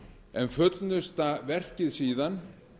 en fullnusta verkið síðan